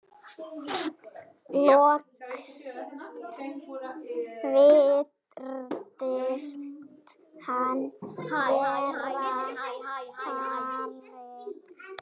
Loks virtist hann vera farinn.